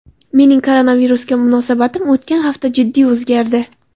Mening koronavirusga munosabatim o‘tgan hafta jiddiy o‘zgardi.